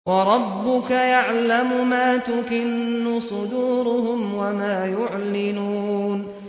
وَرَبُّكَ يَعْلَمُ مَا تُكِنُّ صُدُورُهُمْ وَمَا يُعْلِنُونَ